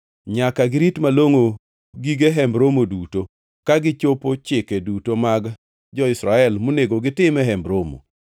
Nyaka girit malongʼo gige Hemb Romo duto, ka gichopo chike duto mag jo-Israel monego gitim e Hemb Romo.